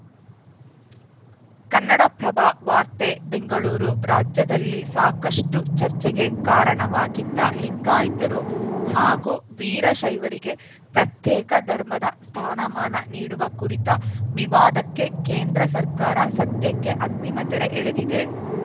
ಕನ್ನಡಪ್ರಭ ವಾರ್ತೆ ಬೆಂಗಳೂರು ರಾಜ್ಯದಲ್ಲಿ ಸಾಕಷ್ಟುಚರ್ಚೆಗೆ ಕಾರಣವಾಗಿದ್ದ ಲಿಂಗಾಯತರು ಹಾಗೂ ವೀರಶೈವರಿಗೆ ಪ್ರತ್ಯೇಕ ಧರ್ಮದ ಸ್ಥಾನಮಾನ ನೀಡುವ ಕುರಿತ ವಿವಾದಕ್ಕೆ ಕೇಂದ್ರ ಸರ್ಕಾರ ಸದ್ಯಕ್ಕೆ ಅಂತಿಮ ತೆರೆ ಎಳೆದಿದೆ